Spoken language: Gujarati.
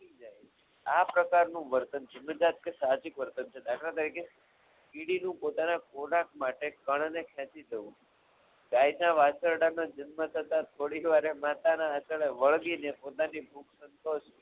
આ પ્રકારનું વર્તન છે જાનીનીક સાદુ વર્તન દાખલા તરીકે કીડીને પોતાના ખોરાક માટે કણને ખેંચી જવું ગાયના વાછરડા નો જન્મ થતા થોડીવાર માતાના આચાર્ય વર્ગી પોતાની બુક સંતોષવી